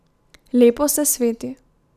Lepo se sveti.